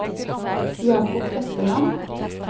Jacob Espeland